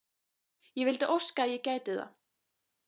Ég vildi óska að ég gæti það.